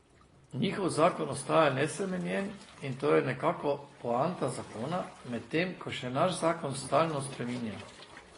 Njihov zakon ostaja nespremenjen, in to je nekako poanta zakona, medtem ko se naš zakon stalno spreminja.